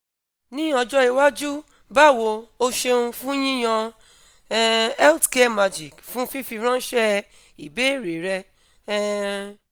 ní ọjọ́ iwájú bawo o ṣeun fun yiyan um health care magic fun fifiranṣẹ ibeere rẹ um